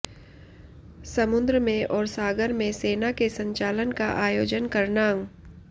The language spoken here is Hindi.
समुद्र में और सागर में सेना के संचालन का आयोजन करना